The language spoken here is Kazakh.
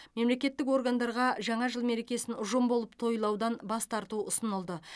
мемлекеттік органдарға жаңа жыл мерекесін ұжым болып тойлаудан бас тарту ұсынылды